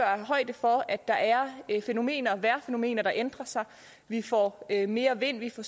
højde for at der er vejrfænomener vejrfænomener der ændrer sig vi får mere vind vi får